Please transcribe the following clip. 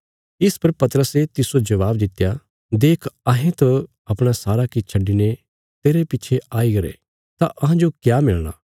इस पर पतरसे तिस्सो जवाब दित्या देख अहें त अपणा सारा किछ छड्डिने तेरे पिच्छे आई गरे तां अहांजो क्या मिलणा